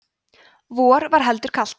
vor var heldur kalt